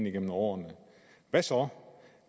igennem årene hvad så